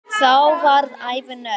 Þá varð ævin öll.